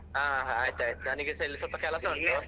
ಹಾ ಆಯ್ತ್ ಆಯ್ತ್ ನನಿಗೆಸ ಇಲ್ಲಿ ಸ್ವಲ್ಪ ಕೆಲಸ ಉಂಟು .